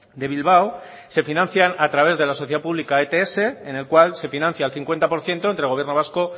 de bilbao se financian a través de la sociedad pública ets en el cual se financia el cincuenta por ciento entre el gobierno vasco